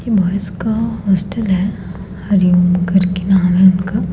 ये बॉयज का हॉस्टल है हरिओम करके नाम है उनका--